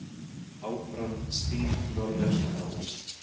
Áfram stíf norðaustanátt